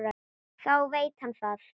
Þá veit hann það.